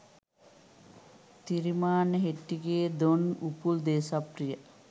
Thirimanne Hettige Don Upul Deshapriya .